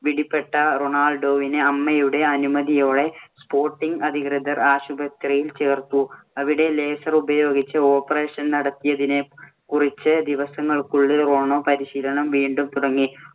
പിടിപെട്ട റൊണാൾഡോവിനെ അമ്മയുടെ അനുമതിയോടെ sporting അധികൃതർ ആശുപത്രിയിൽ ചേർത്തു. അവിടെ laser ഉപയോഗിച്ച് operation നടത്തിയതിനു കുറച്ച് ദിവസങ്ങള്‍ക്കുള്ളില്‍ റോണോ പരിശീലനം വീണ്ടും തുടങ്ങി.